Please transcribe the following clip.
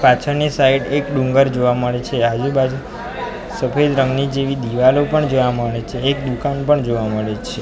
પાછળની સાઈડ એક ડુંગર જોવા મળે છે આજુબાજુ સફેદ રંગની જેવી દીવાલો પણ જોવા મળે છે એક દુકાન પણ જોવા મળે છે.